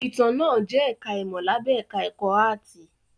Ìtàn náà jẹ́ ẹ̀ká ìmọ̀ lábẹ́ ẹ̀ká ẹ̀kọ́ áàtì